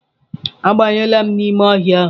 Abanyela n'ime ọhịa ahụ!